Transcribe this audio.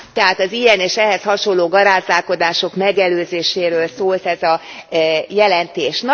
Tehát az ilyen, és ehhez hasonló garázdálkodások megelőzéséről szólt ez a jelentés.